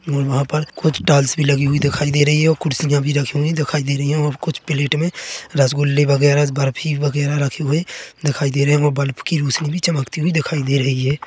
और वहाँ पर कुछ टायल्स भी लगी हुई दिखाई दे रही है खुर्शियां भी रखी हुई दिखाई दे रही है और कुछ प्लेट मे रसगुल्ले वैराग बर्फ़ी वैगरा रखे हुऐ दिखाई दे रहे है वो बल्ब की रोशनी भी चमकती हुई दिखाई दे रही है।